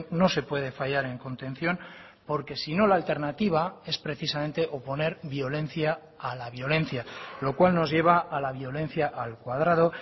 no se puede fallar en contención porque si no la alternativa es precisamente oponer violencia a la violencia lo cual nos lleva a la violencia al cuadrado